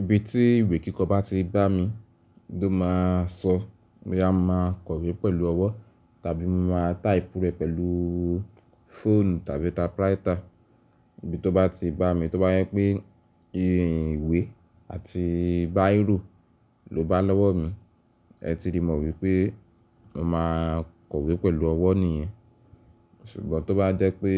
Ibi tí ìwé kíkọ bá ti bá mi, ló máa sọ boya mo máa kọ̀wé pẹ̀lú ọwọ́ tàbí mo máa type rẹ̀ pẹ̀lú phone tàbí typewriter. Ibi tó bá ti bá mi tó bá jẹ pé ìwé àti biro ló bá lọ́wọ́ mi, ẹ ti rí mọ̀ wípé mo máa kọ̀wé pẹ̀lú ọwọ́ nìyẹn. Ṣùgbọ́n tó bá jẹ́ pé